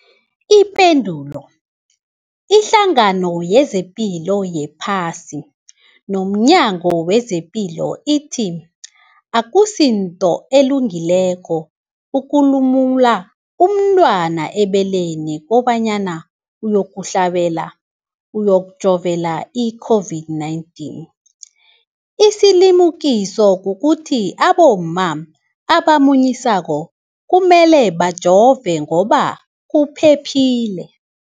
Ipendulo, iHlangano yezePilo yePhasi nomNyango wezePilo ithi akusinto elungileko ukulumula umntwana ebeleni kobanyana uyokuhlabela, uyokujovela i-COVID-19. Isilimukiso kukuthi abomma abamunyisako kumele bajove ngoba kuphephile.